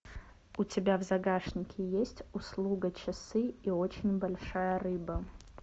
у тебя в загашнике есть услуга часы и очень большая рыба